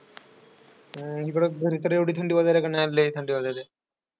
अं इकडं घरी तर एवढी थंडी वाजायलीत का नाही. आज लईच थंडी वाजयली.